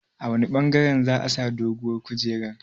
A wanne ɓangaren sa'a sa doguwar kungiyar?